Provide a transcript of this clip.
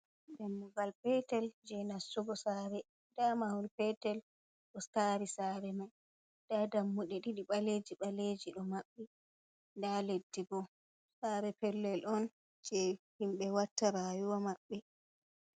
Dammugal petel je nastugo sare, nda mahol petel otari sare mai, nda dammude ɗiɗi ɓaleji ɓaleji ɗo maɓɓi, nda leddi bo, sare pellel on je himɓe watta rayuwa maɓɓe.